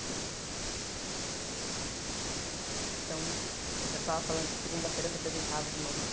Pronto! Então, você estava falando que segunda-feira se apresentava de novo